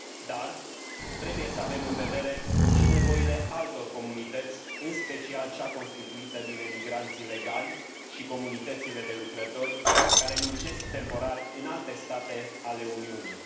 Dar trebuie să avem în vedere și nevoile altor comunități, în special cea constituită din emigranții legali și comunitățile de lucrători care muncesc temporar în alte state ale Uniunii.